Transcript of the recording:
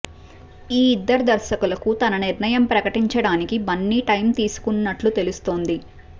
ఈ ఇద్దరు దర్శకులకు తన నిర్ణయం ప్రకటించడానికి బన్నీ టైం తీసుకుంటున్నట్లు తెలుస్తోంది